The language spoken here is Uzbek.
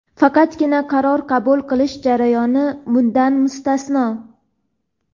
Faqatgina qaror qabul qilish jarayoni bundan mustasno.